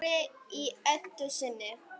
Snorri í Eddu sinni.